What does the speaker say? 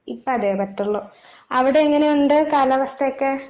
ഇപ്പൊ അതേ പറ്റുള്ളൂ. അവിടെ എങ്ങനെ ഉണ്ട് കാലാവസ്ഥയൊക്കെ?